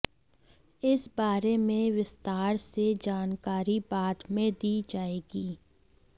इस बारे में विस्तार से जानकारी बाद में दी जाएगी